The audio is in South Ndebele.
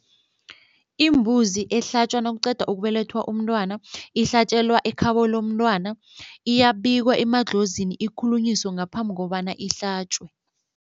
Imbuzi ehlatjwa nakuqeda ukubelethwa umntwana ihlatjelwa ekhabo lomntwana, iyabikwa emadlozini ikhulunyiswe ngaphambi kobana ihlatjwe.